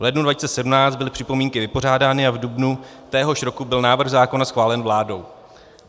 V lednu 2017 byly připomínky vypořádány a v dubnu téhož roku byl návrh zákona schválen vládou.